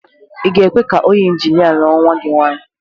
Ị ga-ekwe ka onye injinia lụọ nwa gị nwaanyị?